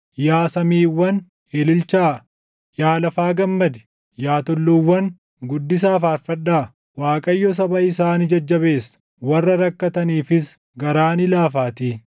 Yaa samiiwwan, ililchaa; yaa lafa gammadi; yaa tulluuwwan, guddisaa faarfadhaa! Waaqayyo saba isaa ni jajjabeessa; warra rakkataniifis garaa ni laafaatii.